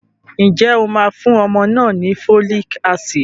Ǹjẹ́ o máa fún ọmọ náà ni folic acid?